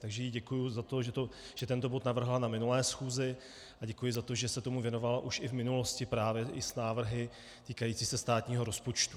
Takže jí děkuji za to, že tento bod navrhla na minulé schůzi, a děkuji za to, že se tomu věnovala už i v minulosti právě i s návrhy týkajícími se státního rozpočtu.